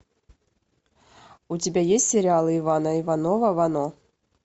у тебя есть сериал ивана иванова вано